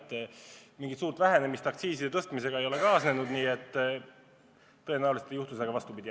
Nii et mingit suurt tarbimise vähenemist aktsiiside tõstmisega ei ole kaasnenud ja tõenäoliselt ei juhtu ka vastupidi.